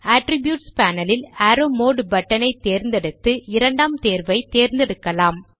attributes panel ல் arrow mode button ஐ தேர்ந்தெடுத்து இரண்டாம் தேர்வை தேர்ந்தெடுக்கலாம்